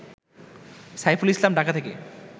সাইফুল ইসলাম, ঢাকা থেকে